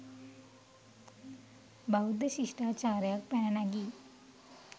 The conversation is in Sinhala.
බෞද්ධ ශිෂ්ටාචාරයක් පැන නැගී